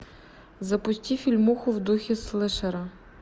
запусти фильмуху в духе слэшера